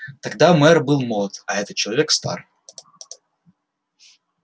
тогда мэр был молод а этот человек стар